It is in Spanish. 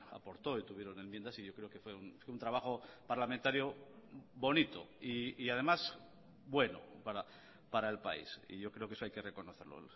aportó y tuvieron enmiendas y yo creo que fue un trabajo parlamentario bonito y además bueno para el país y yo creo que eso hay que reconocerlo